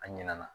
A ɲinɛna